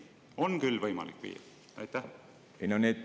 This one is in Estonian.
On küll võimalik viia.